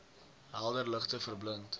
helder ligte verblind